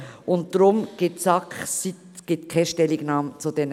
Deshalb gibt die SAK keine Stellungnahme dazu ab.